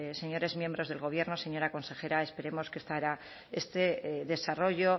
señores miembros del gobierno señora consejera esperemos que esta este desarrollo